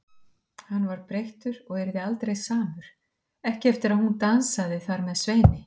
Hann var breyttur og yrði aldrei samur, ekki eftir að hún dansaði þar með Sveini.